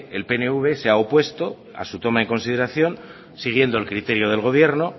el pnv se ha opuesto a su toma en consideración siguiendo el criterio del gobierno